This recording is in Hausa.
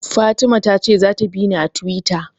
Fatima ta ce za ta bini a Tiwita